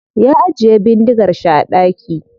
Ya ajiye bindigar shi a daki.